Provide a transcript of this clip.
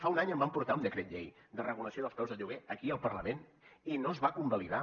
fa un any vam portar un decret llei de regulació dels preus de lloguer aquí al parlament i no es va convalidar